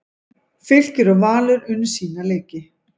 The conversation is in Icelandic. Fylkir og Valur unnu sína leiki